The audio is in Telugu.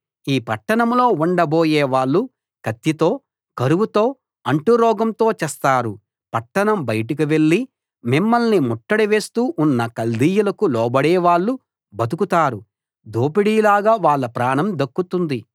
ఈ పట్టణంలో ఉండబోయే వాళ్ళు కత్తితో కరువుతో అంటురోగంతో చస్తారు పట్టణం బయటకు వెళ్లి మిమ్మల్ని ముట్టడి వేస్తూ ఉన్న కల్దీయులకు లోబడేవాళ్ళు బతుకుతారు దోపిడీలాగా వాళ్ళ ప్రాణం దక్కుతుంది